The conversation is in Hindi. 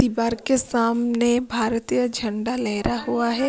दीवार के सामने भारतीय झंडा लहरा हुआ है।